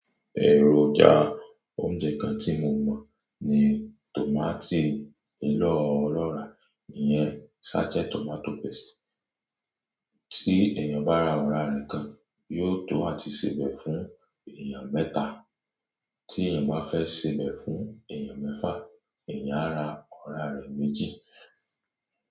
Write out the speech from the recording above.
Ẹ̀rọjà oúnjẹ kan tí mo mọ̀ ní tòmátì ọ̀lọ́rà, ìyẹn sachet tomato paste. Tí èèyàn bá ra ọ̀rá rẹ kan, yóò tó a tíí sebẹ̀ fún èèyàn mẹ́ta. Tí èèyàn bá fẹ́ sebẹ̀ fún èèyàn mẹ́fà, èèyàn á ra ọ̀rá rẹ̀ méjì.